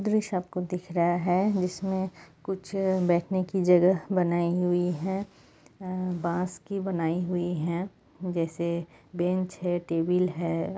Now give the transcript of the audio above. दृश्य आपको दिख रहा है जिसमें कुछ बैठने की जगह बनाई हुई है बाँस की बनाई हुई है जैसे बेंच है टेबल है ।